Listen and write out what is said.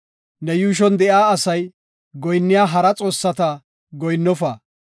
Ne yuushon de7iya asay goyinniya hara xoossata goyinnofa.